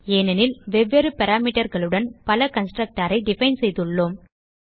ஏனெனில் வெவ்வேறு Parameterகளுடன் பல constructorஐ டிஃபைன் செய்துள்ளோம்